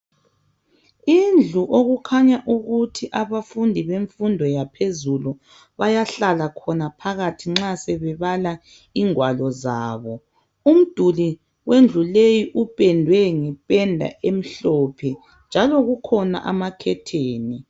Indlu okukhanya ukuthi abafundi bemfundo yaphezulu bayahlala khona phakathi nxa sebebala ingwalo zabo, umduli wendlu leyi upendwe ngependa emhlophe njalo kukhona amakhetheni.